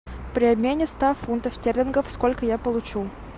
при обмене ста фунтов стерлингов сколько я получу